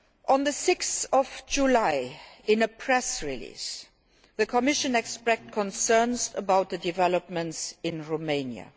On 6 July, in a press release, the Commission expressed concerns about the developments in Romania.